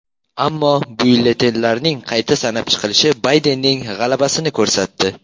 Ammo byulletenlarning qayta sanab chiqilishi Baydenning g‘alabasini ko‘rsatdi.